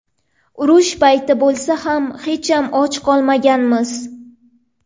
Urush payti bo‘lsa ham hecham och qolmaganmiz.